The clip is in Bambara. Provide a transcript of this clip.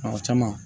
Ɔ caman